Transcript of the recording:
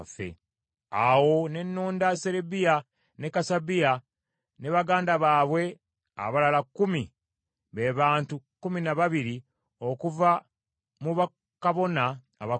Awo ne nonda Serebiya ne Kasabiya ne baganda baabwe abalala kkumi, be bantu kkumi na babiri okuva mu bakabona abakulu,